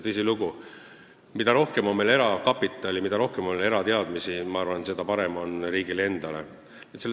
Tõsilugu, ma arvan, et mida rohkem on meil erakapitali, mida rohkem on erateadmisi, seda parem riigile on.